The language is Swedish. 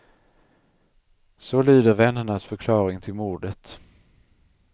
Så lyder vännernas förklaring till mordet.